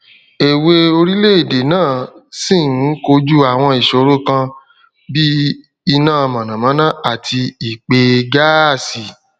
èwè orílèèdè náà ṣi n kojú àwọn ìṣòro kan bí i inà mònàmóná àti ìpèeè gáásì